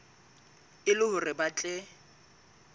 e le hore ba tle